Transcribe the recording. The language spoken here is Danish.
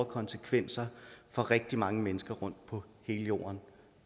konsekvenser for rigtig mange mennesker rundt på hele jorden